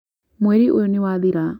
mweri ũyũ niwathira